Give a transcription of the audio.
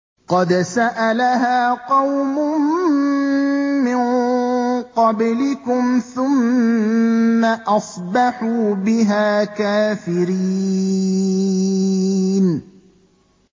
قَدْ سَأَلَهَا قَوْمٌ مِّن قَبْلِكُمْ ثُمَّ أَصْبَحُوا بِهَا كَافِرِينَ